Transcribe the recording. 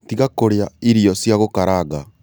Tiga kũrĩa irio cia gũkaranga